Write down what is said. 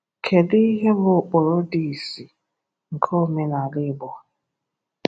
Kedu ihe bụ ụkpụrụ dị ìsì nke omenala Igbo?